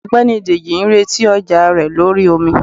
ọgbẹni dejì n retí ọja rẹ lorí omí.